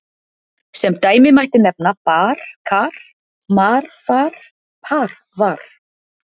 Sem dæmi mætti nefna: bar-kar, mar-far, par-var.